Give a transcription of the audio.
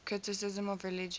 criticism of religion